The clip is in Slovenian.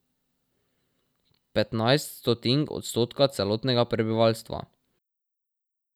Petnajst stotink odstotka celotnega prebivalstva.